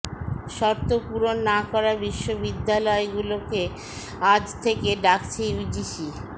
শর্ত পূরণ না করা বিশ্ববিদ্যালগুলোকে আজ থেকে ডাকছে ইউজিসি